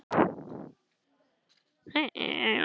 Slíkur vinur var Kolla.